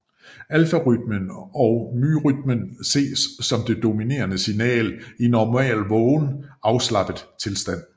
Alfarytmen og myrytmen ses som det dominerende signal i normal vågen afslappet tilstand